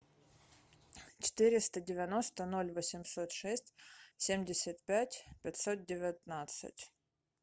четыреста девяносто ноль восемьсот шесть семьдесят пять пятьсот девятнадцать